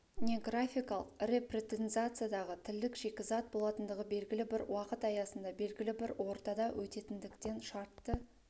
не графикалық репрезентациядағы тілдік шикізат болатындығы белгілі бір уақыт аясында белгілі бір ортада өтетіндіктен шартты